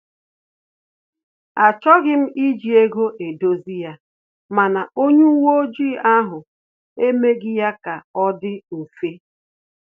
Achọghị m iji ego edozi ya, mana onye uwe ọjị ahụ emeghị ya ka ọ dị mfe